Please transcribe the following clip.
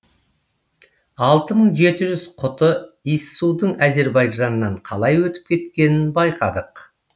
алты мың жеті жүз құты иіссудың әзербайжаннан қалай өтіп кеткенін байқадық